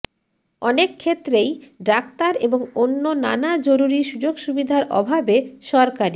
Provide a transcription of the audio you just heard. অনেক ক্ষেত্রেই ডাক্তার এবং অন্য নানা জরুরি সুযোগসুবিধার অভাবে সরকারি